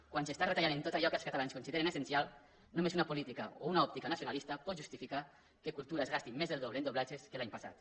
quan s’està retallant en tot allò que els catalans consideren essencial només una política o una òptica nacio nalista pot justificar que cultura es gasti més del doble en doblatges que l’any passat